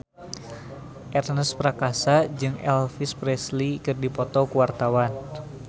Ernest Prakasa jeung Elvis Presley keur dipoto ku wartawan